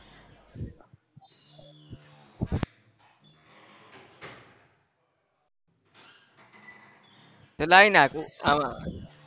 તો લાવી નાખ